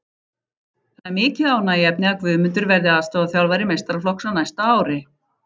Það er mikið ánægjuefni að Guðmundur verði aðstoðarþjálfari meistaraflokks á næsta ári.